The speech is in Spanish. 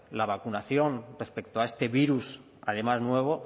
la vacunación respecto a este virus además nuevo